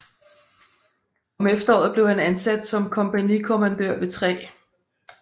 Om efteråret blev han ansat som kompagnikommandør ved 3